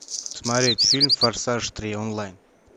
смотреть фильм форсаж три онлайн